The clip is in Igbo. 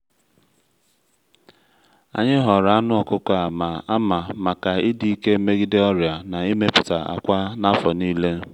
anyị họrọ anụ ọkụkọ a ma ama maka ịdị ike megide ọrịa na imepụta akwa n’afọ niile